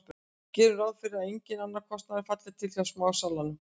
Gerum ráð fyrir að enginn annar kostnaður falli til hjá smásalanum.